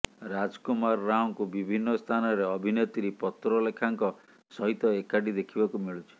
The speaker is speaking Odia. ରାଜକୁମାର ରାଓଙ୍କୁ ବିଭିନ୍ନ ସ୍ଥାନରେ ଅଭିନେତ୍ରୀ ପତ୍ରଲେଖାଙ୍କ ସହିତ ଏକାଠି ଦେଖିବାକୁ ମିଳୁଛି